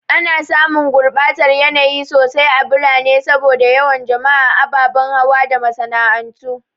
Ana samun gurbatar yanayi sosai a birane saboda yawan jama'a, ababen hawa da masana'antu.